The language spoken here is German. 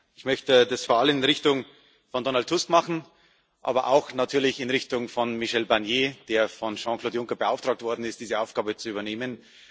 Ich möchte das vor allem in Richtung von Donald Tusk machen, aber auch natürlich in Richtung von Michel Barnier, der von Jean Claude Juncker beauftragt worden ist, diese Aufgabe zu übernehmen.